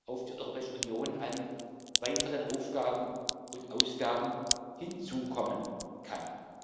auf die Europäische Union an weiteren Aufgaben und Ausgaben hinzukommen kann.